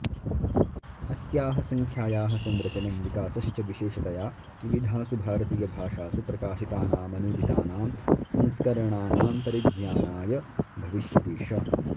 अस्याः संख्यायाः संरचनं विकासश्च विशेषतया विविधासु भारतीयभाषासु प्रकाशितानामनूदितानां संस्करणानां परिज्ञानाय भविष्यतिष